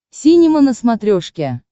синема на смотрешке